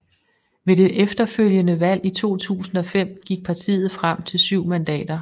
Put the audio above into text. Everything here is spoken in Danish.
Ved det efterfølgende valg i 2005 gik partiet frem til 7 mandater